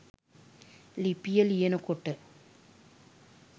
ලිපිය ලියනකොට.